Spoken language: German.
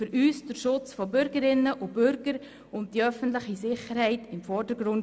Der Schutz der Bürgerinnen und Bürger sowie die öffentliche Sicherheit stehen für uns im Vordergrund.